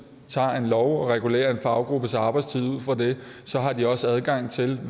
tager en lov og regulerer en faggruppes arbejdstid ud fra den så har de også adgang til